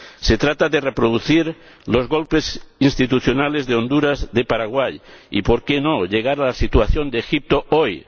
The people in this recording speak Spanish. Se trata de reproducir los golpes institucionales de Honduras, de Paraguay y, por qué no, de llegar a la situación de Egipto hoy